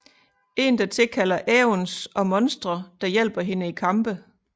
En der tilkalder aeons og monstre der hjælper hende i kampe